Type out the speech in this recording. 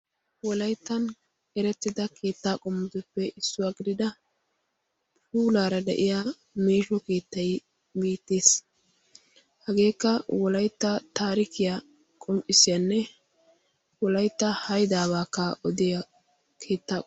wolayttan erettida keettaa qommutuppe issuwaa gidida puulaara de'iya meesho keettayi giittiis hageekka wolaytta taarikiya qom"issiyaanne wolaytta haydaabaakka odiya keettaa.